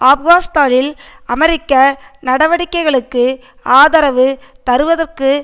ஆப்கானிஸ்தானில் அமெரிக்க நடவடிக்கைகளுக்கு ஆதரவு தருவதற்காக